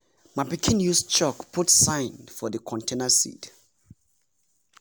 my pikin use chalk put sign for the container seed